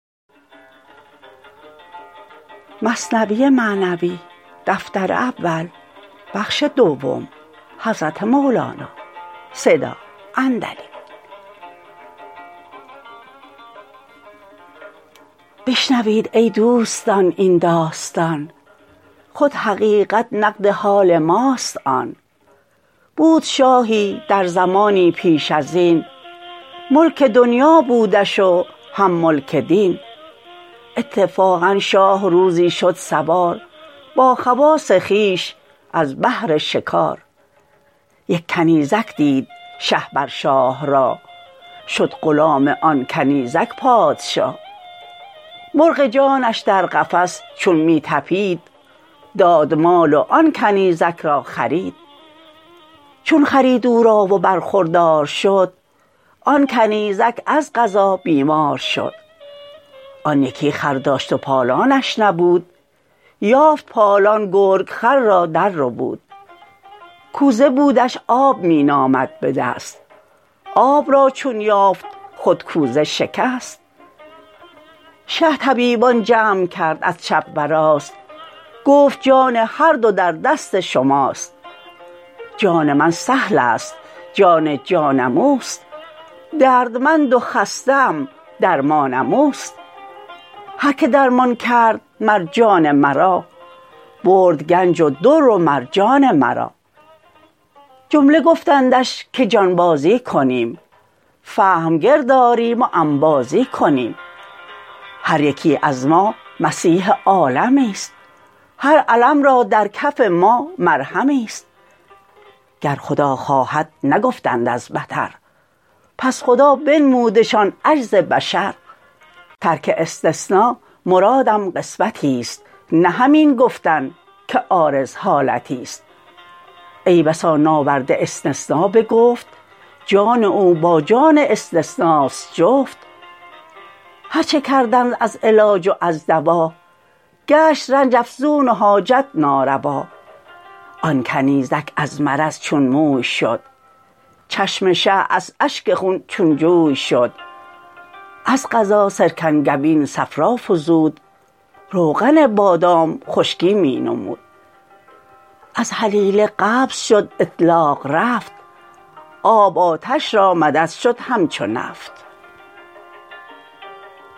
بشنوید ای دوستان این داستان خود حقیقت نقد حال ماست آن بود شاهی در زمانی پیش ازین ملک دنیا بودش و هم ملک دین اتفاقا شاه روزی شد سوار با خواص خویش از بهر شکار یک کنیزک دید شه بر شاه راه شد غلام آن کنیزک پادشاه مرغ جانش در قفس چون می طپید داد مال و آن کنیزک را خرید چون خرید او را و برخوردار شد آن کنیزک از قضا بیمار شد آن یکی خر داشت پالانش نبود یافت پالان گرگ خر را در ربود کوزه بودش آب می نامد بدست آب را چون یافت خود کوزه شکست شه طبیبان جمع کرد از چپ و راست گفت جان هر دو در دست شماست جان من سهلست جان جانم اوست دردمند و خسته ام درمانم اوست هر که درمان کرد مر جان مرا برد گنج و در و مرجان مرا جمله گفتندش که جانبازی کنیم فهم گرد آریم و انبازی کنیم هر یکی از ما مسیح عالمیست هر الم را در کف ما مرهمیست گر خدا خواهد نگفتند از بطر پس خدا بنمودشان عجز بشر ترک استثنا مرادم قسوتی ست نه همین گفتن که عارض حالتی ست ای بسا ناورده استثنا به گفت جان او با جان استثناست جفت هرچه کردند از علاج و از دوا گشت رنج افزون و حاجت ناروا آن کنیزک از مرض چون موی شد چشم شه از اشک خون چون جوی شد از قضا سرکنگبین صفرا فزود روغن بادام خشکی می نمود از هلیله قبض شد اطلاق رفت آب آتش را مدد شد همچو نفت